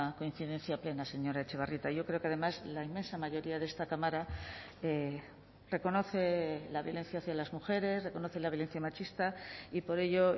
coincidencia plena señora etxebarrieta yo creo que además la inmensa mayoría de esta cámara reconoce la violencia hacia las mujeres reconoce la violencia machista y por ello